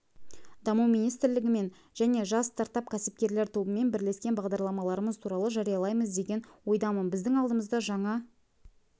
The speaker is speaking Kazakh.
даму министрлігімен және жас стартап-кәсіпкерлер тобымен бірлескен бағдарламаларымыз туралы жариялаймыз деген ойдамын біздің алдымызда жаңа